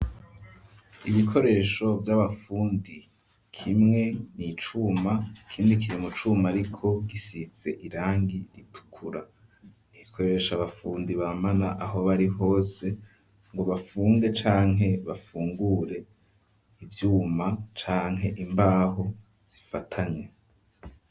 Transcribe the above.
Ibikoresho vy'abafundi kimwe nicuma ikindi kiri mu cuma ariko gisize irangi ritukura rikoreshwa n'abafundi bamara aho bari hose ngo bafunge canke bafungure ivyuma canke imbaho zifatanye.